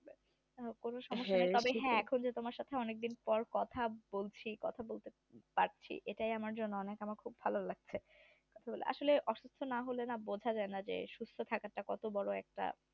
তবে হ্যাঁ তোমার সাথে আমার অনেকদিন পর কথা বলছি। এটা আমার জন্য অনেক আমাকে ভালো লাগছে আসলে অসুস্থ না হলে না সত্যটা কত বড় একটা